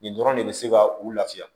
Nin dɔrɔn de bɛ se ka u lafiya